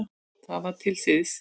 Það var til siðs.